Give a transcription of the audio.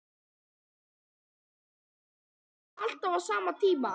Sighvatur: Komið þið alltaf á sama tíma?